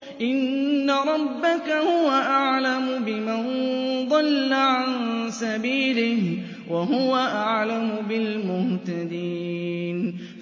إِنَّ رَبَّكَ هُوَ أَعْلَمُ بِمَن ضَلَّ عَن سَبِيلِهِ وَهُوَ أَعْلَمُ بِالْمُهْتَدِينَ